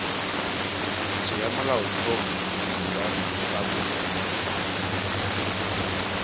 tiriso ya molaotlhomo wa repaboliki